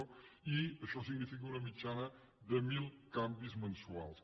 i això significa una mitjana de mil canvis mensuals